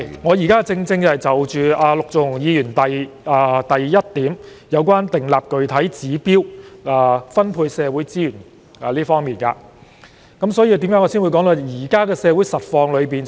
我現正就陸頌雄議員修正案的第二項，有關"訂立具體指標和目標"和"分配資源"等內容發言，所以我才會談到現時的社會實況。